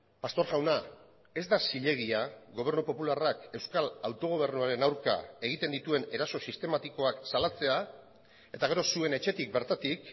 pastor jauna ez da zilegia gobernu popularrak euskal autogobernuaren aurka egiten dituen eraso sistematikoak salatzea eta gero zuen etxetik bertatik